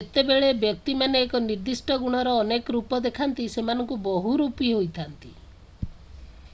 ଯେତେବେଳେ ବ୍ୟକ୍ତିମାନେ ଏକ ନିର୍ଦ୍ଦିଷ୍ଟ ଗୁଣର ଅନେକ ରୂପ ଦେଖାନ୍ତି ସେମାନେ ବହୁରୂପୀ ହୋଇଥାନ୍ତି